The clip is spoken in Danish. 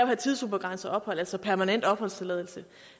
have tidsubegrænset ophold altså permanent opholdstilladelse